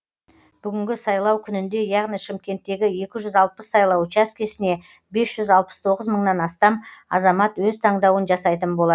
бүгінгі сайлау күнінде яғни шымкенттегі екі жүз алпыс сайлау учаскесіне бес жүз алпыс тоғыз мыңнан астам азамат өз таңдауын жасайтын болады